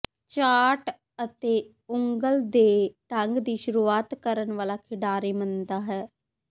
chart ਅਤੇ ਉਂਗਲ ਦੇ ਢੰਗ ਦੀ ਸ਼ੁਰੂਆਤ ਕਰਨ ਵਾਲਾ ਖਿਡਾਰੀ ਮੰਨਦਾ ਹੈ